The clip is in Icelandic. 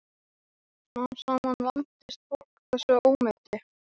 Smám saman vandist fólk þessu ómeti.